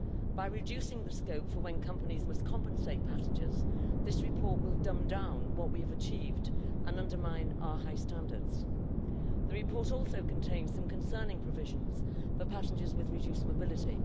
By reducing the scope for when companies must compensate passengers, this report will dumb down what we've achieved and undermine our high standards. The report also contains some concerning provisions for passengers with reduced mobility.